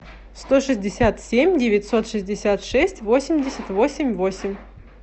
сто шестьдесят семь девятьсот шестьдесят шесть восемьдесят восемь восемь